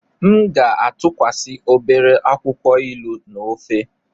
M ga-atụkwasị obere akwụkwọ ilu na ofe.